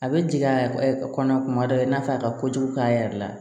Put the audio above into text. A bɛ jigin a kɔnɔ kuma dɔ i n'a fɔ a ka kojugu k'a yɛrɛ la